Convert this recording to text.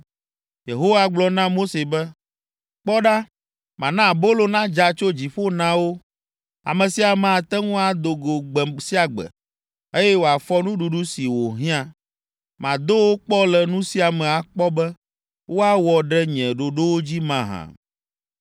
Yehowa gblɔ na Mose be, “Kpɔ ɖa, mana abolo nadza tso dziƒo na wo. Ame sia ame ate ŋu ado go gbe sia gbe, eye wòafɔ nuɖuɖu si wòhiã. Mado wo kpɔ le nu sia me akpɔ be woawɔ ɖe nye ɖoɖowo dzi mahã.